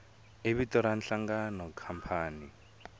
i vito ra nhlangano khampani